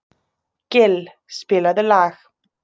Gill, spilaðu lag.